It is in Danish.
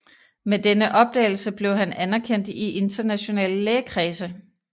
Med denne opdagelse blev han anerkendt i internationale lægekredse